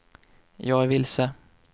jag är vilse